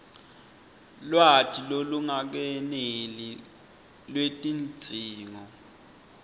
lwati lolungakeneli lwetidzingo